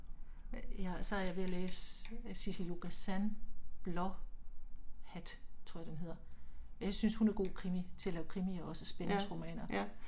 Ja og så er jeg ved at læse Sissel-Jo Gazan Blåhat, tror jeg den hedder. Jeg synes hun er god krimi, til at lave krimier også spændingsromaner